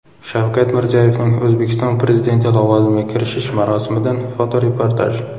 Shavkat Mirziyoyevning O‘zbekiston Prezidenti lavozimiga kirishish marosimidan fotoreportaj.